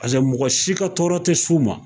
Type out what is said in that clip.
Paseke mɔgɔ si ka tɔɔrɔ tɛ s'u ma.